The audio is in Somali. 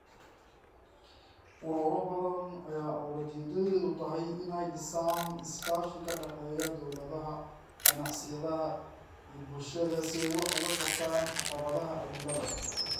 Ururo badan ayaa ujeedadoodu tahay inay dhisaan iskaashi ka dhexeeya dawladaha, ganacsiyada, iyo bulshada si ay wax uga qabtaan caqabadaha cimilada.